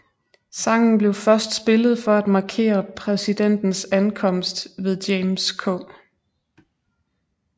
Sangen blev først spillet for at markere præsidentens ankomst ved James K